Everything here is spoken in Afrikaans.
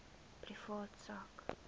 privaat sak